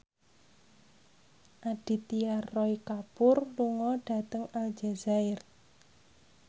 Aditya Roy Kapoor lunga dhateng Aljazair